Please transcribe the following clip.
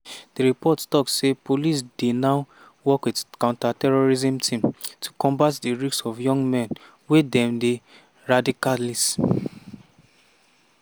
di report tok say di police dey now work wit counter-terrorism teams to combat di risks of young men wey dem dey radicalise.